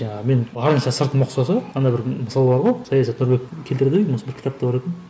жаңағы мен барынша сыртым ұқсаса ана бір мысалы бар ғой саясатта біреу келтіреді ғой осы бір кітапта бар екен